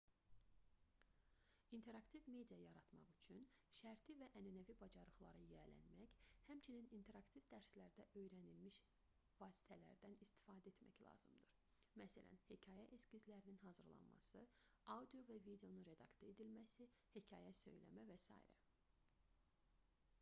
i̇nteraktiv media yaratmaq üçün şərti və ənənəvi bacarıqlara yiyələnmək həmçinin interaktiv dərslərdə öyrənilmiş vasitələrdən istifadə etmək lazımdır məsələn hekayə eskizlərinin hazırlanması audio və videonun redaktə edilməsi hekayə söyləmə və s.